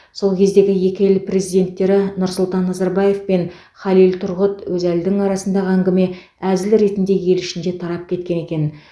сол кездегі екі ел президенттері нұрсұлтан назарбаев пен халил тұрғұт өзәлдің арасындағы әңгіме әзіл ретінде ел ішінде тарап кеткен екен